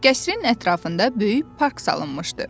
Qəsrin ətrafında böyük park salınmışdı.